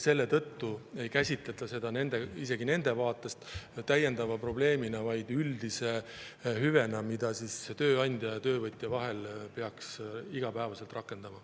Selle tõttu ei käsitleta seda isegi nende vaatest täiendava probleemina, vaid üldise hüvena, mida tööandja ja töövõtja peaks igapäevaselt rakendama.